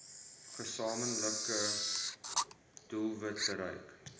gesamentlike doelwit bereik